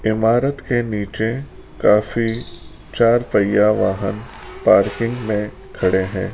इमारत के नीचे काफी चार पहिया वाहन पार्किंग मे खड़े है।